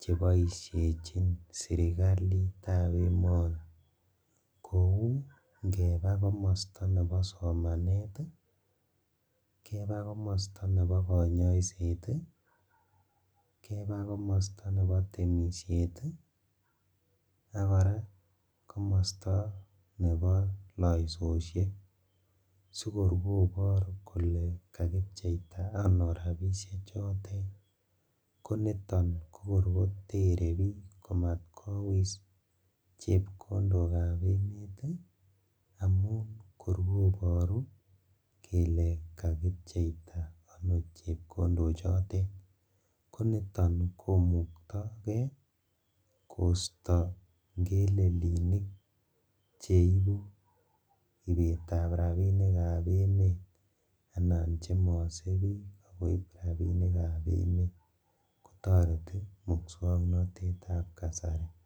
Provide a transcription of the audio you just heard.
cheboishejin sirkalitab emoni kou ingebaa komosto nebo somanet, keba komosto nebo konyoiset ii, kebaa komosto nebo temishet ii, ak koraa komosto nebo losoishek sikor kobor kole kakipcheita ano rabishechotet koniton kokor kotere bik komatkowis chepkondokab emet amun kor koboru kele kakipcheita ano chepkondochotet konito komuktokee kosto ngelelinik cheibu ibetab rabinikab emet anan chemose bik ak koib rabinikab emet kotoreti muswoknotetab kasari.